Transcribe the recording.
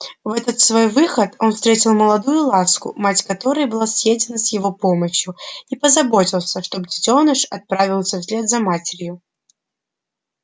в этот свой выход он встретил молодую ласку мать которой была съедена с его помощью и позаботился чтобы детёныш отправился вслед за матерью